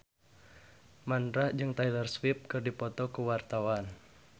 Mandra jeung Taylor Swift keur dipoto ku wartawan